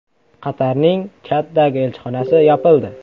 Qatarning Chaddagi elchixonasi yopildi.